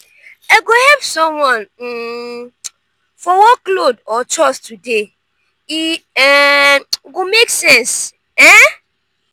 i go help someone um for workload or chores today e um go make sense. um